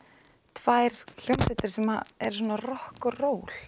tvær hljómsveitir sem eru rokk og ról